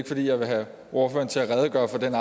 fordi jeg vil have ordføreren til at redegøre for den